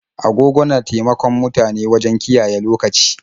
Agogo na taimakon mutane wajen kiyaye lokaci.